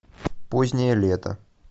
позднее лето